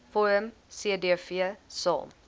vorm cdv saam